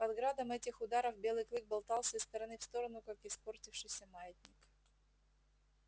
под градом этих ударов белый клык болтался из стороны в сторону как испортившийся маятник